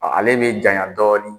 Ale bɛ janya dɔɔni.